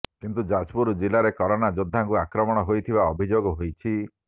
କିନ୍ତୁ ଯାଜପୁର ଜିଲ୍ଲାରେ କରୋନା ଯୋଦ୍ଧାଙ୍କୁ ଆକ୍ରମଣ ହୋଇଥିବା ଅଭିଯୋଗ ହୋଇଛି